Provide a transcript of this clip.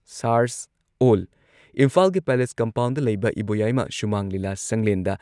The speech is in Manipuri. ꯁꯥꯔꯁ ꯑꯣꯜ ꯏꯝꯐꯥꯜꯒꯤ ꯄꯦꯂꯦꯁ ꯀꯝꯄꯥꯎꯟꯗ ꯂꯩꯕ ꯏꯕꯣꯌꯥꯏꯃꯥ ꯁꯨꯃꯥꯡ ꯂꯤꯂꯥ ꯁꯪꯂꯦꯟꯗ